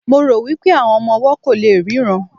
mo ro wipe àwọn ọmọ ọwọ ko le ríran